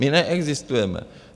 My neexistujeme!